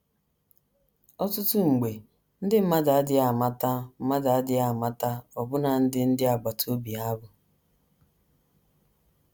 Ọtụtụ mgbe, ndị mmadụ adịghị amata mmadụ adịghị amata ọbụna ndị ndị agbata obi ha bụ.